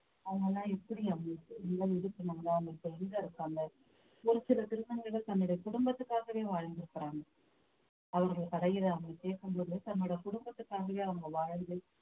அவங்க எல்லாம் எப்படி அவங்களுக்கு எங்க இருக்காங்க ஒரு சில திருநங்கைகள் தன்னுடைய குடும்பத்துக்காகவே வாழ்ந்திருக்கிறாங்க அவங்க கதையில அவங்க கேட்கும்போது தன்னோட குடும்பத்துக்காகவே அவங்க வாழ்ந்து